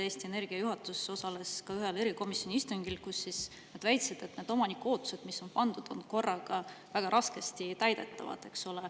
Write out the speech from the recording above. Eesti Energia juhatus osales ka ühel erikomisjoni istungil, kus nad väitsid, et omaniku ootused, mis on neile pandud, on korraga väga raskesti täidetavad.